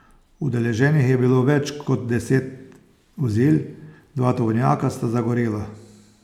Udeleženih je bilo več kot deset vozil, dva tovornjaka sta zagorela.